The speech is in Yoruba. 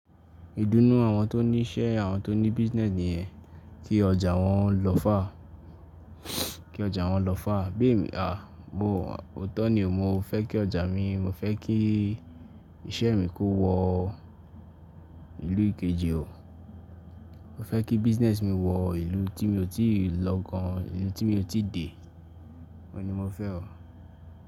Ìdùnnú àwọn tó ní iṣẹ́, àwọn tó ní business nìyẹn, kí ọjà wọn lọ fàá, kí ọjà wọn lọ fàá. Béèni, à, mo, òótọ́ ni o, mo fẹ́ kí ọjà mi, mo fẹ́ kí iṣẹ́ mi kó wọ ìlú kejì o. Mo fẹ́ kí business mi wọ ìlú tí mi ò tí ì lọ gan, ìlú tí mi ò tí dé. Òóun ni mo fẹ́ o.